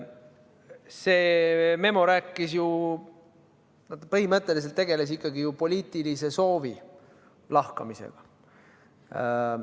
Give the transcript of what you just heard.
See memo rääkis ju ... põhimõtteliselt see tegeles ikkagi poliitilise soovi lahkamisega.